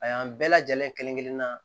A y'an bɛɛ lajɛlen kelen kelen na